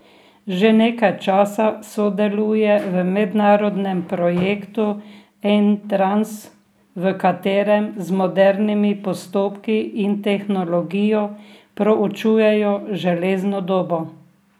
Že nekaj časa sodeluje v mednarodnem projektu Entrans, v katerem z modernimi postopki in tehnologijo proučujejo železno dobo.